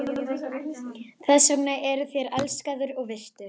Þess vegna eruð þér elskaður og virtur.